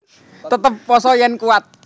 Tetep pasa yèn kuwat